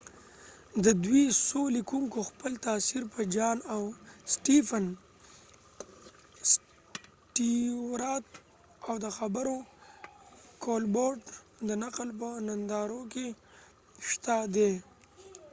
ددوي څو لیکونکو خپل تاثیر په جان سټیوارتjohn stewart او سټیفن کولبرټ stephen colbert د خبرونو د نقل په نندارو کې شته دي